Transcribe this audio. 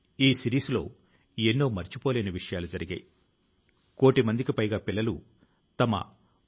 శ్రీ వరుణ్ సింహ్ ఆసుపత్రి లో ఉన్నప్పుడు సామాజిక మాధ్యమాల లో నా మనసు కు హత్తుకొనే విషయం ఒకటి గమనించాను